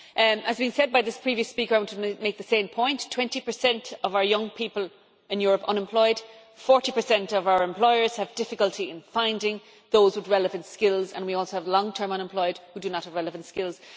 As has been said by the previous speaker and I want to make the same point 20 of our young people in Europe are unemployed, 40 of our employers have difficulty in finding those with relevant skills, and we also have long term unemployed who do not have relevant skills.